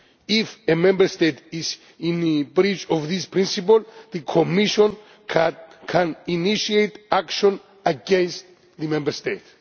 If a Member State is in breach of these principles, the Commission can initiate action against the Member State.